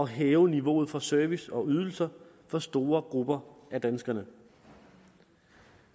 hæve niveauet for service og ydelser for store grupper af danskerne